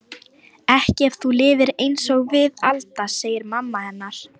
Ekki ef þú lifir einsog við Alda, segir mamma hennar.